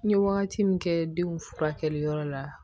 N ye wagati min kɛ denw furakɛli yɔrɔ la